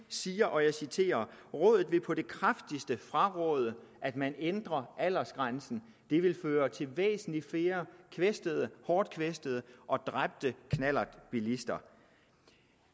siger og jeg citerer rådet vil på det kraftigste fraråde at man ændrer aldersgrænsen det vil føre til væsentlig flere kvæstede hårdt kvæstede og dræbte knallertbilister